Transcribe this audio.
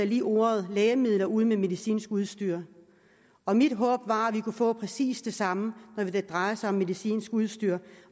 lige ordet lægemidler ud med ordene medicinsk udstyr og mit håb var at vi kunne få præcis det samme når det drejer sig om medicinsk udstyr